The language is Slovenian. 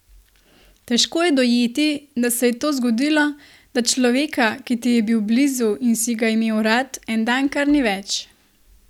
Težko je dojeti, da se je to zgodilo, da človeka, ki ti je bil blizu in si ga imel rad, en dan kar ni več.